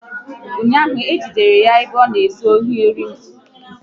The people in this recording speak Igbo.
Ụnyaahụ, e jidere ya ebe ọ na ezu ewu mmadụ